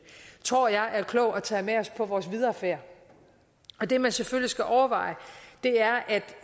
tror jeg det er klogt at tage med os på vores videre færd det man selvfølgelig skal overveje